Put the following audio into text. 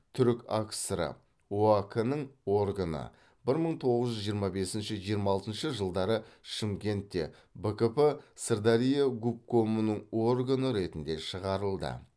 түркакср ы оак нің органы бір мың тоғыз жүз жиырма бесінші жиырма алтыншы жылдары шымкентте бкп сырдария губкомының органы ретінде шығарылды